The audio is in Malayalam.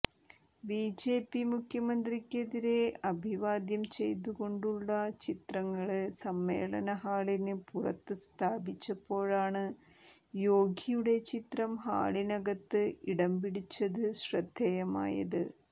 ബിജെപി മുഖ്യമന്ത്രിമാരെ അഭിവാദ്യം ചെയ്തുകൊണ്ടുള്ള ചിത്രങ്ങള് സമ്മേളനഹാളിന് പുറത്ത് സ്ഥാപിച്ചപ്പോഴാണ് യോഗിയുടെ ചിത്രം ഹാളിനകത്ത് ഇടംപിടിച്ചത് ശ്രദ്ധേയമായത്